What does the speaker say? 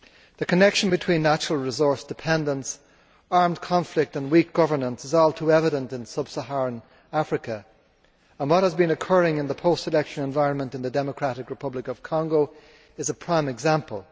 The connection between natural resource dependence, armed conflict and weak governance is all too evident in sub Saharan Africa and what has been occurring in the post election environment in the Democratic Republic of Congo is a prime example.